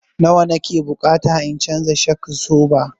Nawa na ke bukata in canza shok absoba?